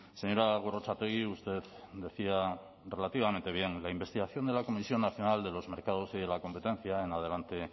señora gorrotxategi usted decía relativamente bien la investigación de la comisión nacional de los mercados y la competencia en adelante